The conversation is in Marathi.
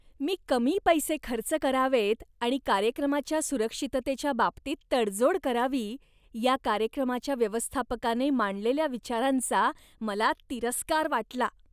मी कमी पैसे खर्च करावेत आणि कार्यक्रमाच्या सुरक्षिततेच्या बाबतीत तडजोड करावी या कार्यक्रमाच्या व्यवस्थापकाने मांडलेल्या विचारांचा मला तिरस्कार वाटला.